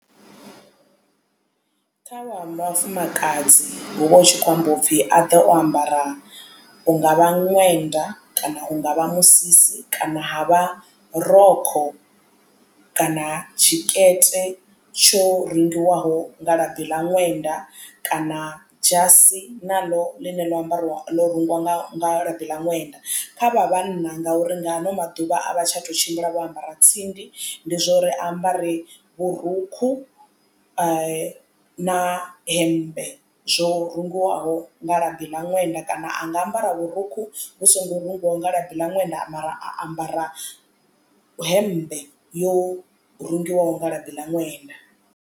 Kha vhafumakadzi hu vha hu tshi khou amba upfi a ḓe o ambara hunga vha ṅwenda kana hungavha musisi kana ha vha rokho kana tshikete tsho rengiwaho nga labi ḽa ṅwenda kana dzhasi naḽo ḽine ḽo ambariwa ḽo rungiwa nga labi ḽa ṅwenda. Kha vha vhanna ngauri nga ano maḓuvha a vha tsha tou tshimbila vho ambara tsindi ndi zwo ri ambare vhurukhu na hemmbe zwo rungiwaho nga labi ḽa ṅwenda kana anga ambara vhurukhu vhu songo rungiwa nga labi ḽa ṅwenda mara a ambara hemmbe yo rengiwaho nga ḽadi ḽa ṅwenda.